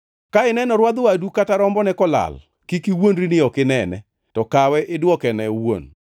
Ka ineno rwadh wadu kata rombone kolal, kik iwuondri ni ok inene, to kawe idwokene wuon.